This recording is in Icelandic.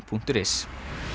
punktur is